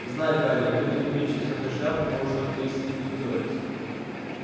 знай гарри вынуть меч из этой шляпы может только истинный гриффиндорец